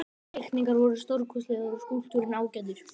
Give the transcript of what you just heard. Teikningarnar voru stórkostlegar og skúlptúrinn ágætur.